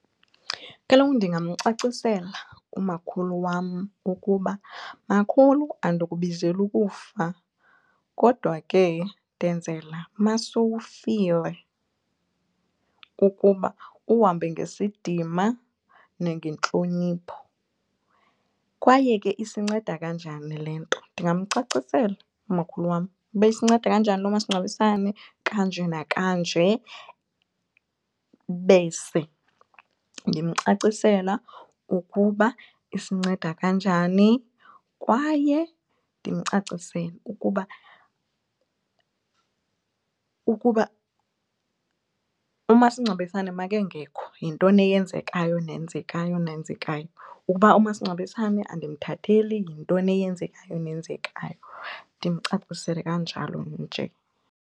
Kaloku ndingamcacisela umakhulu wam ukuba, makhulu andikubizeli ukufa kodwa ke ndenzela masowufile ukuba uhambe ngesidima nangentlonipho kwaye ke isinceda kanjani le nto. Ndingamcacisela umakhulu wam uba isinceda kanjani lo masingcwabisane kanje nakanje bese ndimcacisela ukuba isinceda kanjani kwaye ndimcacisele ukuba, ukuba umasingcwabisane makengekho yintoni eyenzekayo nenzekayo nenzekayo. Ukuba umasingcwabisane andimthatheli yintoni eyenzekayo nenzekayo, ndimcacisele kanjalo nje.